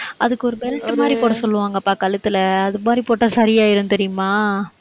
அதுக்கு ஒரு belt மாதிரி போட சொல்லுவாங்கப்பா, கழுத்துல அது மாதிரி போட்டா சரியாயிடும் தெரியுமா